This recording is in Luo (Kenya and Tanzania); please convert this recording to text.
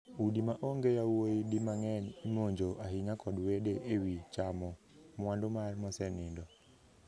Udi ma onge yawuoyi di mang'eny imonjo ahinya kod wede e wii chamo mwandu mar mosenindo.